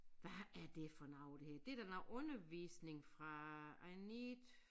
Hvad er det for noget her det da noget undervisning fra I need